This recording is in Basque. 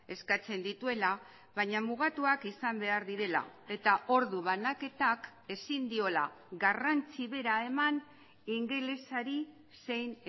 eskatzen dituela baina mugatuak izan behar direla eta ordu banaketak ezin diola garrantzi bera eman ingelesari zein